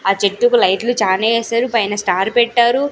ఆ చెట్టుకు లైట్లు చానే ఏసారు పైన స్టార్ పెట్టారు.